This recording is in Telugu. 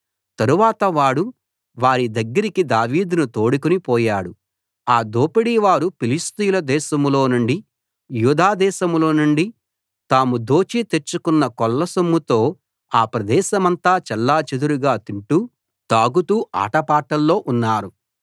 తరువాత వాడు వారి దగ్గరికి దావీదును తోడుకుని పోయాడు ఆ దోపిడీ వారు ఫిలిష్తీయుల దేశంలోనుండి యూదా దేశం లోనుండి తాము దోచి తెచ్చుకొన్న కొల్ల సొమ్ముతో ఆ ప్రదేశమంతా చెల్లాచెదరుగా తింటూ తాగుతూ ఆటపాటల్లో ఉన్నారు